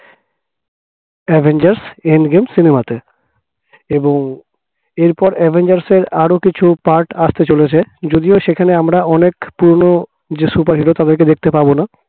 avengers end game cinema তে এবং এরপর avengers র আরো কিছু part আসতে চলেছে যদিও সেখানে আমরা অনেক পুরনো যে superhero তাদেরকে দেখতে পাবো না